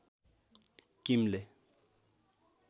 किमले